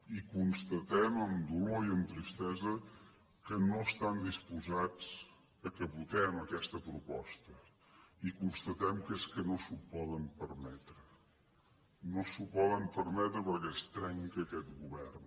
i constatem amb dolor i amb tristesa que no estan disposats que votem aquesta proposta i constatem que és que no s’ho poden permetre no s’ho poden permetre perquè es trenca aquest govern